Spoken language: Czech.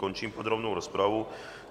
Končím podrobnou rozpravu.